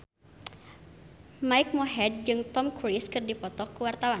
Mike Mohede jeung Tom Cruise keur dipoto ku wartawan